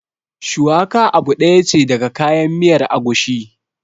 Shuwaka abu ɗaya ce daga kayan miyar agushi